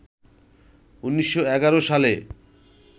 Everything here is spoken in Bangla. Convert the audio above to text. ১৯১১ সালে